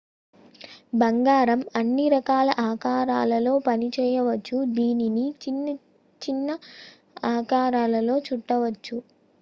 బంగారం అన్ని రకాల ఆకారాలలో పనిచేయవచ్చు దీనిని చిన్న చిన్న ఆకారాలలో చుట్టవచ్చు